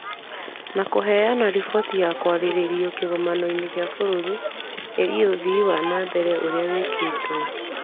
Na kũheana riboti ya kwarĩrĩrio kĩgomano-inĩ gĩa bũrũri ĩgiĩ ũthii wa na mbere ũrĩa wĩkĩtwo,